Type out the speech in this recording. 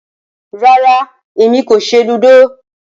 Rara, Emi ko ṣe ludo